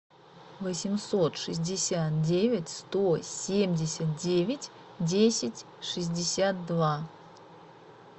восемьсот шестьдесят девять сто семьдесят девять десять шестьдесят два